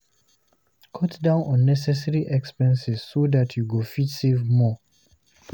Cut down unnessecary expenses so that you go fit save more